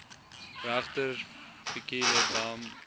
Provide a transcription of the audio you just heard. regter fikile bam